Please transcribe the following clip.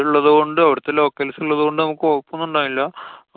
ഉള്ളതുകൊണ്ട് അവടത്തെ locals ഉള്ളതുകൊണ്ട് നമുക്ക് കൊഴപ്പോന്നുണ്ടായില്ല.